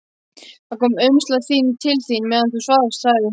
Það kom umslag til þín meðan þú svafst, sagði hún.